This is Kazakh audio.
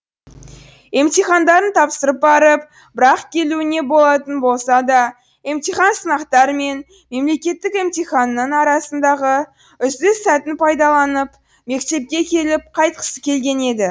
емтихандарын тапсырып барып бір ақ келуіне болатын болса да емтихан сынақтар мен мемлекеттік емтиханның арасындағы үзіліс сәтін пайдаланып мектепке келіп қайтқысы келген еді